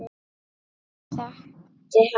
Ég þekkti hann